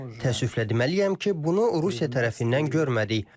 Təəssüflə deməliyəm ki, bunu Rusiya tərəfindən görmədik.